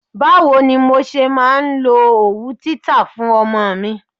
Bá wo ni mo ṣe máa lo òwú títa fún ọmọ mi?